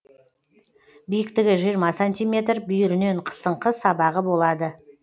биіктігі жиырма сантиметр бүйірінен қысыңқы сабағы болады